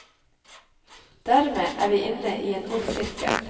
Dermed er vi inne i en ond sirkel.